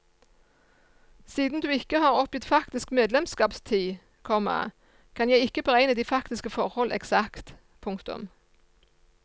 Siden du ikke har oppgitt faktisk medlemskapstid, komma kan jeg ikke beregne de faktiske forhold eksakt. punktum